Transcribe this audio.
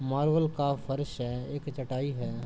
Marble का फर्श है। एक चटाई है।